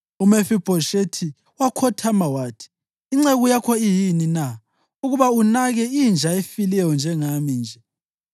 UMefibhoshethi wakhothama wathi, “Inceku yakho iyini na, ukuba unake inja efileyo njengami nje?”